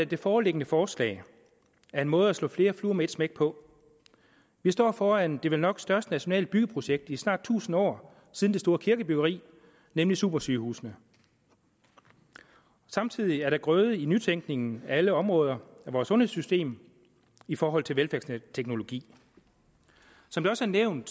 det foreliggende forslag er en måde at slå flere fluer med et smæk på vi står foran det vel nok største nationale byggeprojekt i snart tusind år siden det store kirkebyggeri nemlig supersygehusene samtidig er der grøde i nytænkningen af alle områder af vores sundhedssystem i forhold til velfærdsteknologi som det også er nævnt